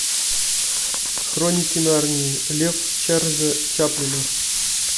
хроники нарнии лев чарльза чаплина